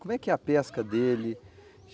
Como é que é a pesca dele?